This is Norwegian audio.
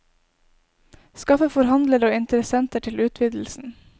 Skaffe forhandlere og interessenter til utvidelsen.